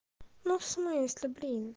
ну в смысле блин